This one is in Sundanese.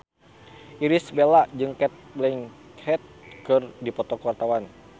Irish Bella jeung Cate Blanchett keur dipoto ku wartawan